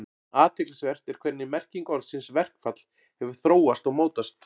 Athyglisvert er hvernig merking orðsins verkfall hefur þróast og mótast.